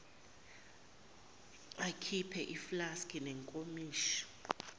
akhiphe iflaski nezinkomishi